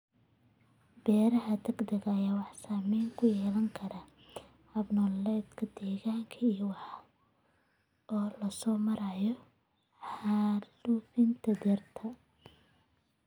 Beeraha degdega ah waxay saameyn ku yeelan karaan hab-nololeedyada deegaanka iyada oo loo marayo xaalufinta dhirta.